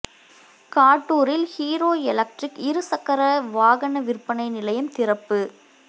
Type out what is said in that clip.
காட்டூரில் Hero Electric இருசக்கர வாகன விற்பனை நிலையம் திறப்பு